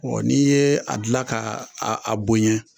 n'i yee a dilan k'a aa a bonyɛ